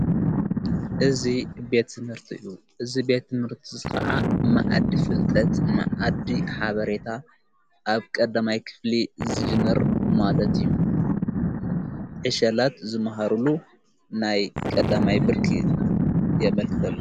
እዝ ቤት ዝንርትዩ እዝ ቤት ምርት ኸዓ ማእዲ ፍልጠት ንዓዲ ሓበሬታ ኣብ ቐዳማይ ክፍሊ ዝጅነር ማለት እዩ ሕሸላት ዝመሃሩሉ ናይ ቀዳማይ ብርኪ የመልክተሉ።